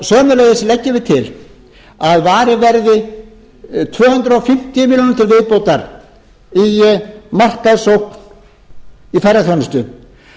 sömuleiðis leggjum við til að varið verði tvö hundruð fimmtíu milljónir til viðbótar í ferðaþjónustu